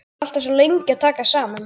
Maður er alltaf svo lengi að taka saman.